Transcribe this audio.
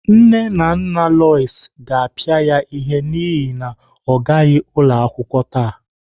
Nne na nna Lois ga-apịa ya ihe n'ihi na ọ gaghị ụlọ akwụkwọ taa.